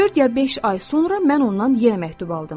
Dörd ya beş ay sonra mən ondan yenə məktub aldım.